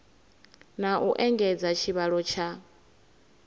na u engedza tshivhalo tsha